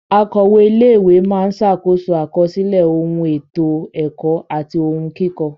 Akọ̀we ilé ìwé máa ṣàkóso àkọsílẹ̀ ohun ètò ẹ̀kọ́ àti ohun kíkọ.